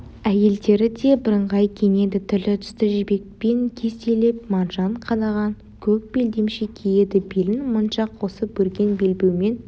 әйелдері де бірыңғай киінеді түрлі түсті жібекпен кестелеп маржан қадаған көк белдемше киеді белін моншақ қосып өрген белбеумен